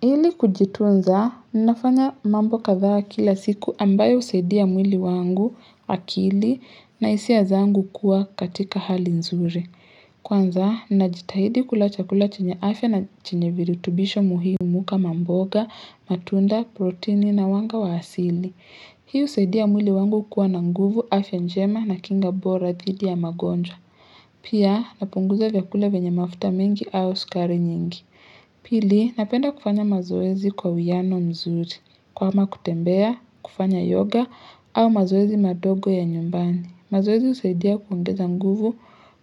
Ili kujitunza, ninafanya mambo kadhaa kila siku ambayo husaidia mwili wangu akili na hisia zangu kuwa katika hali nzuri. Kwanza, ninajitahidi kula chakula chenye afya na chenye virutubisho muhimu kama mboga, matunda, protini na wanga wa asili. Hii husaidia mwili wangu kuwa na nguvu afya njema na kinga bora dhidi ya magonjwa. Pia, napunguza vyakula venya mafuta mingi au sukari nyingi. Pili, napenda kufanya mazoezi kwa uwiano mzuri, kama kutembea, kufanya yoga au mazoezi madogo ya nyumbani. Mazoezi husaidia kuongeza nguvu,